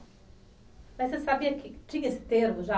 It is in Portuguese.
Mas você sabia que tinha esse termo já